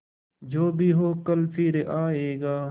जो भी हो कल फिर आएगा